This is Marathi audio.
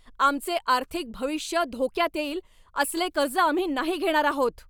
आमचे आर्थिक भविष्य धोक्यात येईल असले कर्ज आम्ही नाही घेणार आहोत!